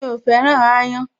Mi ò féràn aáyán